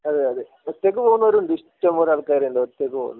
അതെയതെ ഒറ്റക് പോവുന്നവർ ഉണ്ട് ഇഷ്ടംപോലെ ആൾകാർ ഉണ്ട് ഒറ്റക് പോവുന്നെ